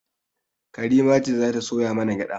Karima ce za ta soya mana gyaɗa